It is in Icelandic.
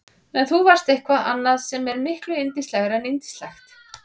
En þú varst eitthvað annað sem er miklu yndislegra en yndislegt.